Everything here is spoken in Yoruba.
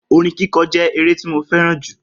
Orin kíkọ je ere ti mo feran ju